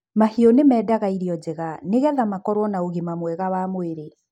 mahiũ nimendaga irio njega nigetha makorũo na ũgima mwega wa mwĩrĩ